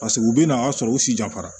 Paseke u bɛ na a sɔrɔ u si janfara